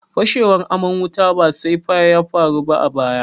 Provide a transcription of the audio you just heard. Fashewar aman wuta ba safai ya faru ba a baya.